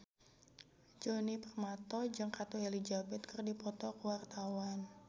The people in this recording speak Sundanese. Djoni Permato jeung Ratu Elizabeth keur dipoto ku wartawan